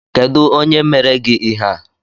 Kedu onye mere gị ihe a?